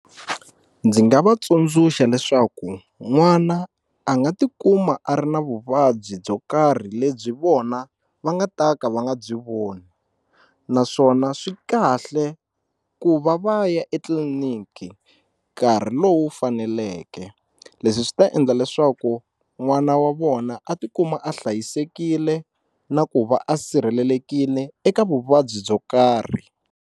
Ndzi nga va tsundzuxa leswaku n'wana a nga tikuma a ri na vuvabyi byo karhi lebyi vona va nga ta ka va nga byi voni naswona swi kahle ku va va ya etliliniki nkarhi lowu faneleke leswi swi ta endla leswaku n'wana wa vona a tikuma a hlayisekile na ku va a sirhelelekile eka vuvabyi byo karhi.